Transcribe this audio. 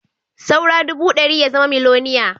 Saura ɗubu ɗari ya zama miloniya